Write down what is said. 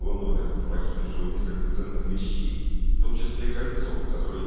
его номер и похитившего несколько ценных вещей в том числе кольцо которой